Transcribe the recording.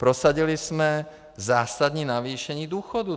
Prosadili jsme zásadní navýšení důchodů.